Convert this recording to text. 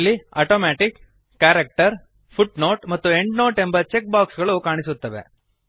ಇಲ್ಲಿ automatic character footnote ಮತ್ತು endnote ಎಂಬ ಚೆಕ್ ಬಾಕ್ಸ್ ಗಳು ಕಾಣಿಸುತ್ತವೆ